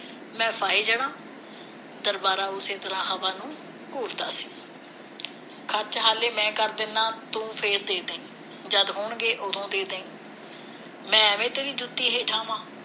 ਮੈਂ ਫਾਹੇ ਜਾਣਾ ਦਰਬਾਰਾ ਉਸੇ ਤਰ੍ਹਾਂ ਹਵਾ ਨੂੰ ਸੀ ਸੱਚ ਹਾਲੇ ਮੈਂ ਕਰ ਦਿੰਨਾ ਤੂੰ ਫਿਰ ਦੇ ਦੀ ਜਦ ਹੋਣਗੇ ਉਦੋ ਦੇ ਦੀ ਮੈਂ ਐਵੇਂ ਤੇਰੀ ਜੁੱਤੀ ਹੇਠਾਂ ਆਵਾਂ